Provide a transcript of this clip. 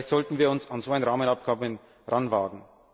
Vielleicht sollten wir uns an so ein Rahmenabkommen heranwagen.